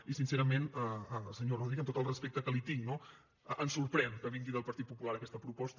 i sincerament senyor rodríguez amb tot el respecte que li tinc no ens sorprèn que vingui del partit popular aquesta proposta